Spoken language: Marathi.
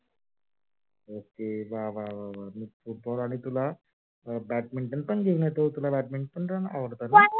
ok वा वा वा. football आणि तुला badminton पण घेऊन येतो badminton पण आवडते ना तुला?